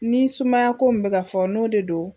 Ni sumaya ko min bɛ ka fɔ n'o de don